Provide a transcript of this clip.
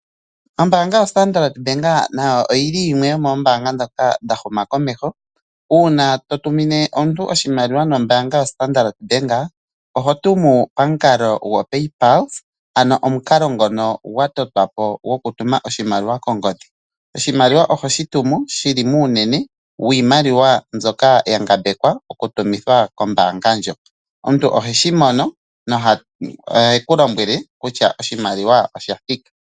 Ombaanga yoStandard Bank nayo oyi li yimwe yomoombanga ndhoka dha humakomeho uuna to tumine omuntu oshimaliwa nombaanga yoStandard Bank, oho tumu pamukalo ngoka gwa totwa po gokutuma oshimaliwa kongodhi. Oshimaliwa oho shi tumu shi li muunene wiimaliwa mbyoka ya ngambekwa okutumwa kombaanga ndjoka. Omuntu oheshi mono nohe ku lombwele kutya oshimaliwa osha thika.